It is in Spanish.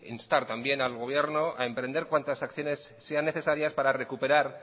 instar también al gobierno a emprender cuantas acciones sean necesarias para recuperar